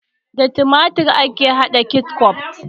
Da tumatur ake hada ketchup